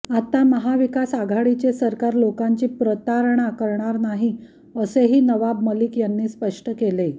आता महाविकास आघाडीचे सरकार लोकांची प्रतारणा करणार नाही असेही नवाब मलिक यांनी स्पष्ट केले